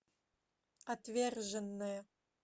отверженные